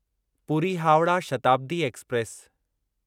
Puri Howrah Shatabdi express